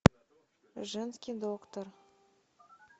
женский доктор